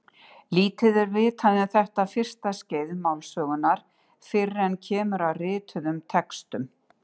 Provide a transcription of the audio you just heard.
Lítið er vitað um þetta fyrsta skeið málsögunnar fyrr en kemur að rituðum textum.